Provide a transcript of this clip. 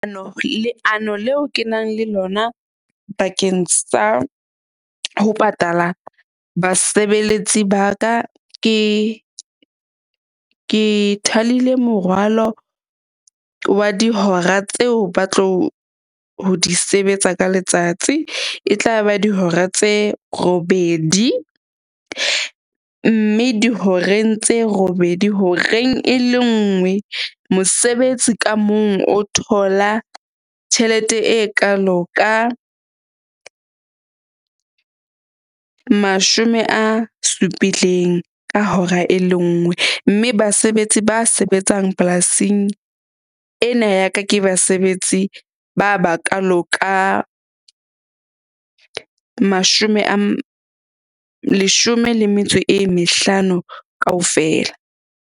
Leano leo ke nang le lona bakeng sa ho patala basebeletsi ba ka, ke morwalo wa dihora tseo ba tlo ho di sebetsa ka letsatsi. E tla ba dihora tse robedi, mme dihoreng tse robedi horeng e le nngwe mosebetsi ka mong o thola tjhelete e kaalo ka mashome a supileng ka hora e le nngwe. Mme basebetsi ba sebetsang polasing ena ya ka ke basebetsi ba bakaalo ka mashome a leshome le metso e mehlano kaofela.